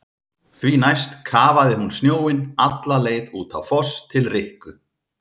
Því næst kafaði hún snjóinn alla leið út á Foss til Rikku.